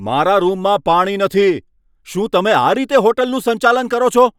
મારા રૂમમાં પાણી નથી! શું તમે આ રીતે હોટલનું સંચાલન કરો છો?